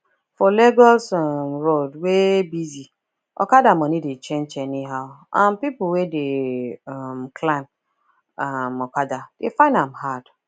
for lagos um road wey busy okada money dey change anyhow and people wey dey um climb um okada dey find am hard